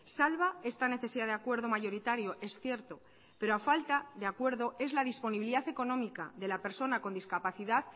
salva esta necesidad de acuerdo mayoritario es cierto pero a falta de acuerdo es la disponibilidad económica de la persona con discapacidad